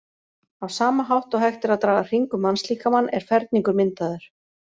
Á sama hátt og hægt er að draga hring um mannslíkamann er ferningur myndaður.